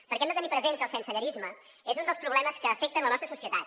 perquè hem de tenir present que el sensellarisme és un dels problemes que afecten la nostra societat